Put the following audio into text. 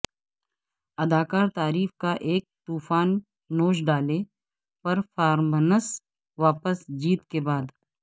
اداکار تعریف کا ایک طوفان نوچ ڈالے پرفارمنس واپس جیت کے بعد